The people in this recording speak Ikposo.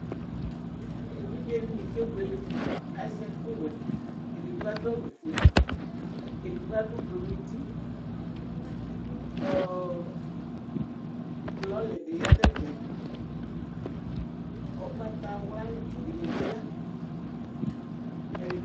Evidzedini kebuele azɛ ɛku wɛ edigbo adu awu fue edigbo adu ublu nu uti ɔ lɔli bi yanu ɛfɛ ugbatawla tsi dini bi ya